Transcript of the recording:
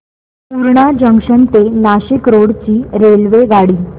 Purna junction ते Nashik road ची रेल्वेगाडी